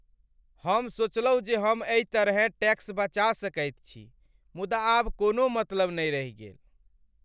हम सोचलहुँ जे हम एहि तरहेँ टैक्स बचा सकैत छी, मुदा आब कोनो मतलब नहि रहि गेल।